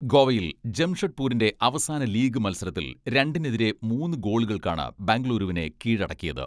ഗോവയിൽ ജംഷഡ്പൂരിന്റെ അവസാന ലീഗ് മത്സരത്തിൽ രണ്ടിനെതിരെ മൂന്ന് ഗോളുകൾക്കാണ് ബംഗുളൂരുവിനെ കീഴടക്കിയത്.